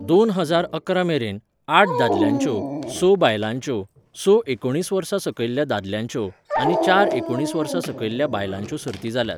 दोन हजार अकरा मेरेन, आठ दादल्यांच्यो, स बायलांच्यो, स एकोणीस वर्सां सकयल्या दादल्यांच्यो आनी चार एकोणीस वर्सां सकयल्या बायलांच्यो सर्ती जाल्यात.